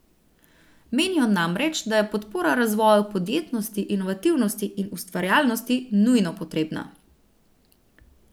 Menijo namreč, da je podpora razvoju podjetnosti, inovativnosti in ustvarjalnosti nujno potrebna.